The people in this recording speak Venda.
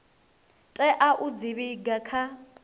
tea u dzi vhiga kha